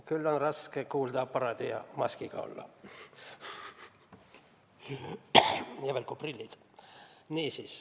Küll on raske kuuldeaparaadi ja maskiga olla, eriti veel kui on prillid.